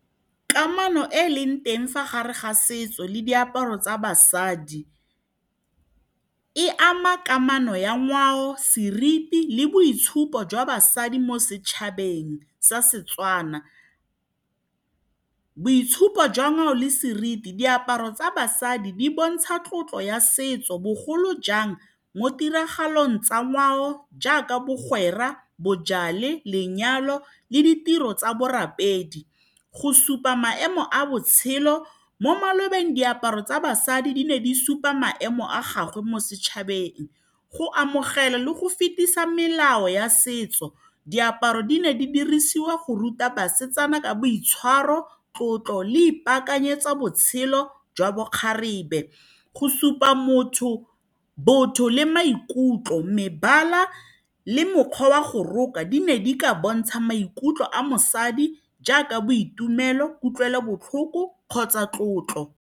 Kamano e e leng teng fa gare ga setso le diaparo tsa basadi e ama kamano ya ngwao, seriti le boitshupo jwa basadi mo setšhabeng sa seTswana. Boitshupo jwa ngwao le seriti, diaparo tsa basadi di bontsha tlotlo ya setso, bogolo jang mo ditiragalong tsa ngwao jaaka bogwera, bojale, lenyalo le ditiro tsa borapedi. Go supa maemo a botshelo mo malapeng, diaparo tsa basadi di ne di supa maemo a gagwe mo setšhabeng, go amogela le go fetisa melao ya setso. Diaparo di ne di dirisiwa go ruta basetsana ka boitshwaro, tlotlo le go ipaakanyetsa botshelo jwa bokgarebe, go supa motho botho le maikutlo. Mebala le mokgwa wa go roka di ne di ka bontshang maikutlo a mosadi jaaka boitumelo, kutlwelobotlhoko kgotsa tlotlo.